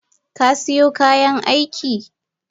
Kasiyo kayan aiki?